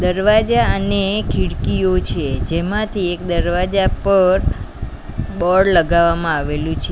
દરવાજા અને ખીડકીઓ છે જેમાંથી એક દરવાજા પર બોર્ડ લગાવવામાં આવેલું છે.